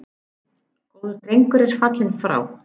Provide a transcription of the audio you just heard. Góður drengur er fallinn frá.